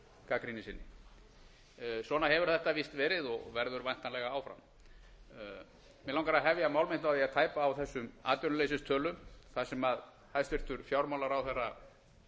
gagnrýni sinni svona hefur þetta víst verið og verður væntanlega áfram mig langar að hefja mál mitt á því að tæpa á þessum atvinnuleysistölum það sem hæstvirtur fjármálaráðherra